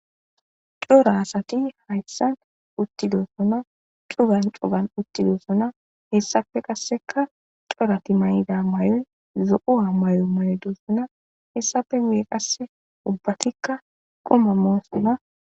"Cora asati haysan uttidosona cuggan cuggan uttidosona hessape qasseka corati mayida mayoy zo'uwa mayo mayidosona hessapenne qasse ubbatika quma moosona."